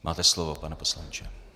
Máte slovo, pane poslanče.